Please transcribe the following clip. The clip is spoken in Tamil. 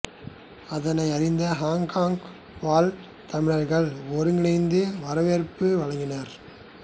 அதனை அறிந்த ஹொங்கொங் வாழ் தமிழர்கள் ஒருங்கிணைந்து வரவேற்பு வழங்கினர்